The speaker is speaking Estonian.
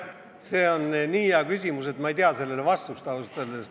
See on nii hea küsimus, et ma ei tea sellele vastust, ausalt öeldes.